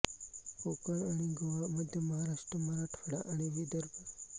कोकण आणि गोवा मध्य महाराष्ट्र मराठवाडा आणि विदर्भ